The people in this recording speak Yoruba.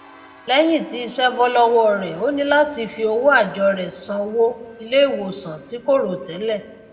léyìn tí isé bó lówó rè ó ní làti fi owó àjó rè san wó iléìwòsàn tí kò rò télè